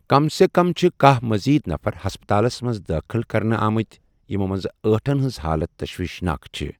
كم سے كم چھِ كاہ مزید نفر ہسپتالس منز دٲخل كرنہٕ آمٕتہِ ، یِمو منزٕ ٲٹھن ہنز حالت تسویشناك چھے٘۔